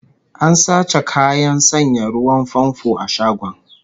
An sace kayan sanya ruwan famfo a shagon